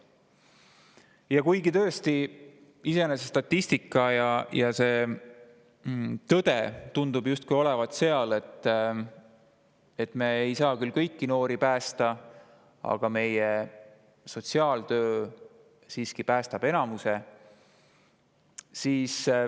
Ja kuigi tõesti, statistika ja tõde tundub justkui olevat selline, et me ei saa kõiki noori päästa, siis sotsiaaltöö siiski päästab enamiku.